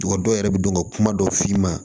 Dɔw yɛrɛ bɛ don ka kuma dɔ f'i ma